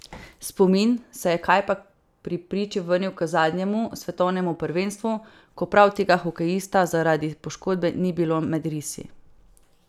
Spomin se je kajpak pri priči vrnil k zadnjemu svetovnemu prvenstvu, ko prav tega hokejista zaradi poškodbe ni bilo med risi ...